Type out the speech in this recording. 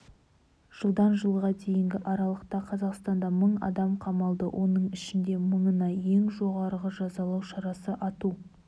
жылдан жылға дейінгі аралықта қазақстанда мың адам қамалды оның ішінде мыңына ең жоғарғы жазалау шарасы ату